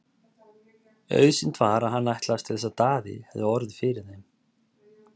Auðsýnt var að hann ætlaðist til þess að Daði hefði orð fyrir þeim.